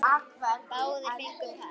Báðir fengu par.